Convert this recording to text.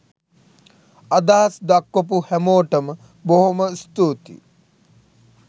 අදහස් දක්වපු හැමෝටම බොහොම ස්තුතියි